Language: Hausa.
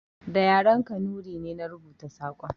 Da yaren Kanuri ne na rubuta saƙon